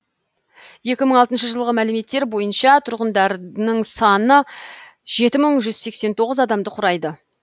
екі мың алтыншы жылғы мәліметтер бойынша тұрғындарының саны жеті мың жүз сексен тоғыз адамды құрайды